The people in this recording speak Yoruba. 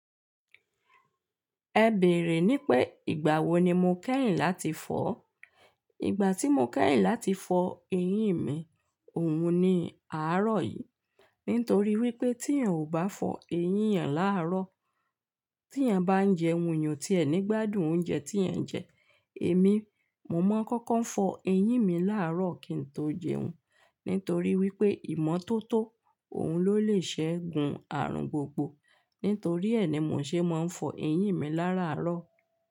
Ẹ bèrè ní pé ìgbà wo ni mo kẹ́yìn láti fọ́? Ìgbà tí mo kẹ́yìn láti fọ eyín mi, òun ni àárọ̀ yìí. Nítorí wípé tí iyàn ò bá fọ eyín ìyàn láàárọ̀, tí iyàn bá ń jẹun, iyàn ti ẹ̀ ní gbádùn oúnjẹ tí ẹ ń jẹ. Èmi, mo mọ̀ kọ́kọ́ ń fọ eyín mi làárọ̀ kí n tó jẹun. Nítorí wípé ìmọ́tótó òun ló lè ṣẹ́gun àrùn gbogbo. Nítorí ẹ ní mò ń ṣe mọ ń fọ eyín mi láràárọ̀.